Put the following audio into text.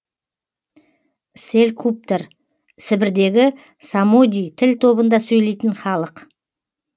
селькуптар сібірдегі самодий тіл тобында сөйлейтін халық